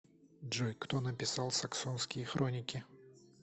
джой кто написал саксонские хроники